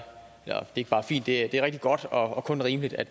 ikke bare fint det er rigtig godt og kun rimeligt at